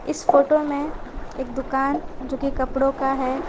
इस फोटो में एक दुकान जो की कपड़ों का है।